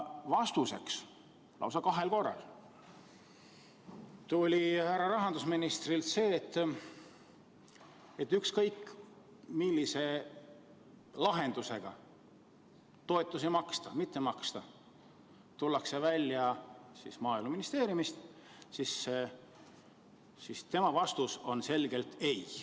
Vastuseks tuli härra rahandusministrilt lausa kahel korral see, et ükskõik millise lahendusega toetuste teemal tullakse välja Maaeluministeeriumist, on tema vastus selge ei.